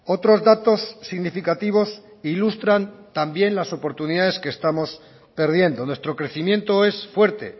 otros datos significativos ilustran también las oportunidades que estamos perdiendo nuestro crecimiento es fuerte